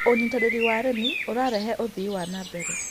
Ũnyĩtanĩrĩ wa arĩmĩ ũrarehe ũthĩĩ nambere